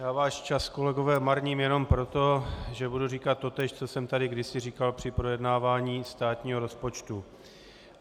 Já váš čas, kolegové, marním jenom proto, že budu říkat totéž, co jsem tady kdysi říkal při projednávání státního rozpočtu.